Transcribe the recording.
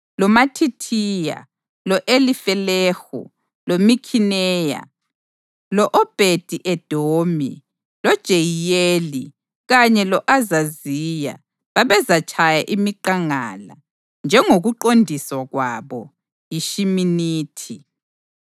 loMathithiya, lo-Elifelehu, loMikhineya, lo-Obhedi-Edomi, loJeyiyeli kanye lo-Azaziya babezatshaya imiqangala, njengokuqondiswa kwabo yishiminithi,